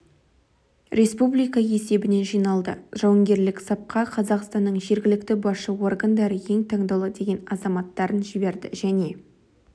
республика есебінен жиналды жауынгерлік сапқа қазақстанның жергілікті басшы органдары ең таңдаулы деген азаматтарын жіберді және